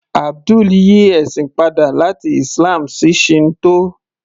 Abdul yí ẹ̀sìn padà láti Islam sí Shinto